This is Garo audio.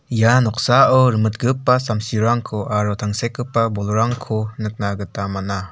ia noksao rimitgipa samsirangko aro tangsekgipa bolrangko nikna gita man·a.